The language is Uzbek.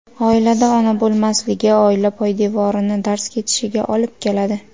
Oilada ona bo‘lmasligi oila poydevorini darz ketishiga olib keladi.